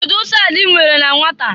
Kedụ nsọ anị ị mere na nwata?